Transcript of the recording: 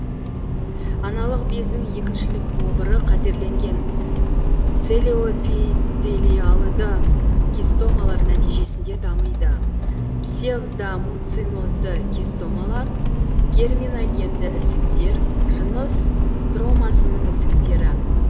аналық бездің екіншілік обыры қатерленген целиоэпителиалды кистомалар нәтижесінде дамиды псевдомуцинозды кистомалар герминогенді ісіктер жыныс стромасының ісіктері